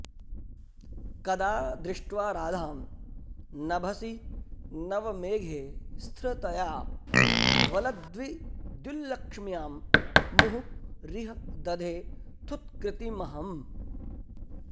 कदा दृष्ट्वा राधां नभसि नवमेघे स्थिरतया वलद्विद्युल्लक्ष्म्यां मुहुरिह दधे थुत्कृतिमहम्